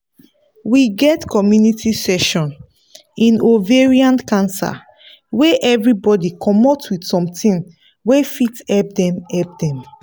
we get community session in ovarian cancer wey everybody commot with something wey fit help dem help dem